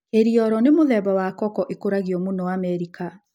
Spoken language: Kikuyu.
Kiriolo ni mũthemba wa koko ĩkũragio mũno Amerika.